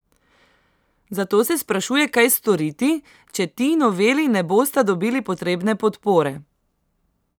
Zato se sprašuje, kaj storiti, če ti noveli ne bosta dobili potrebne podpore.